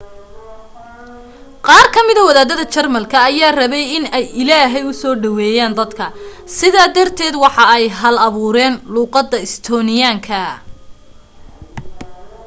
qaar ka mida wadaadada jarmalka ayaa rabay in ay ilaahey usoo dhaweeyan dadka sida darted waxa ay hal abuureyn luuqada estonian-ka